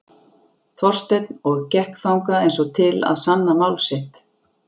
Þorsteinn og gekk þangað eins og til að sanna mál sitt.